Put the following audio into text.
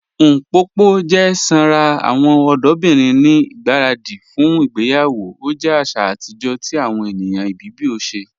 Mpopo jẹ sànra awọn ọdọbirin ni igbaradi fún ìgbèyawo, o jẹ àṣà atijọ̀ ti awọn ènìyàn Ibibio ṣẹ.